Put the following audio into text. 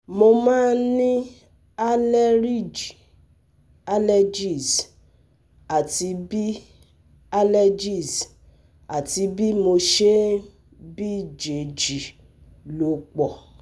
Mo máa ń ní àleríjì (allergies) àti bí (allergies) àti bí mo ṣe ń bíjèjì ló pọ̀